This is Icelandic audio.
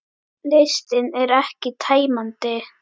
Listinn er ekki tæmandi